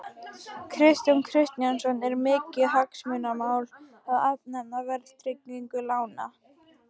Kristján Kristjánsson: Er mikið hagsmunamál að afnema verðtryggingu lána?